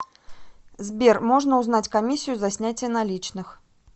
сбер можно узнать комиссию за снятие наличных